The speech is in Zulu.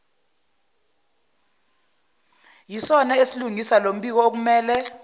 isona esilungisa lombikookumele